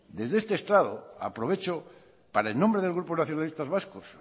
desde este estrado aprovecho para en nombre del grupo nacionalistas vascos